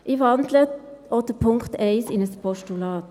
Ich wandle auch den Punkt 1 in ein Postulat.